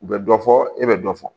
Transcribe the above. U bɛ dɔ fɔ e bɛ dɔ fɔ